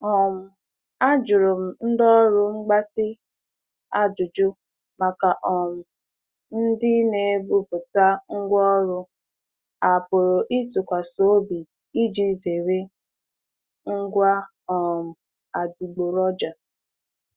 um Ajuru m ndị ọrụ mgbatị ajụjụ maka um ndị na-ebubata ngwa ọrụ a pụrụ ịtụkwasị obi iji zere ngwa um adịgboroja.